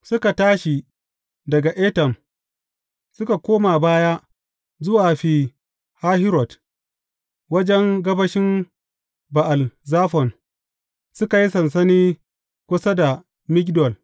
Suka tashi daga Etam, suka koma baya zuwa Fi Hahirot, wajen gabashin Ba’al Zafon, suka yi sansani kusa da Migdol.